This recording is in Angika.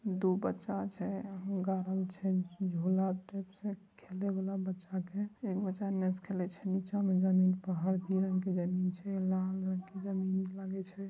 दो बच्चा छे भू ही अच्छे है गुलाब का फुल है बहुत अच्छा है बहूट आचा है लागल में है ।